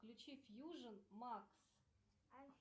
включи фьюжен макс